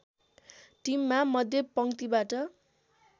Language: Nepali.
टिममा मध्यपङ्क्तिबाट